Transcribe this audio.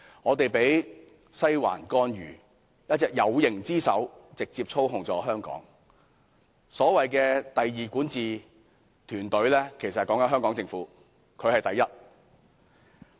我們被"西環"干預，一隻"有形之手"直接操控香港，而所謂的"第二管治"團隊，其實是指香港政府，"西環"才是第一。